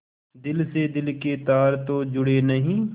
दिल से दिल के तार तो जुड़े नहीं